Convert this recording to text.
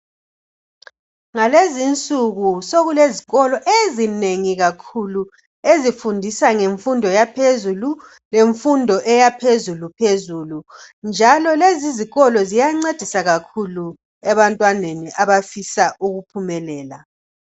Ngalezi insuku sokulezikolo ezinengi kakhulu ezifundisa ngemfundo yaphezulu lemfundo yaphezulu phezulu njalo lezi izikolo ziyancedisa kakhulu ebantwaneni abafisa ukuphumelela.